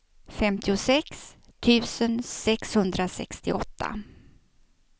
femtiosex tusen sexhundrasextioåtta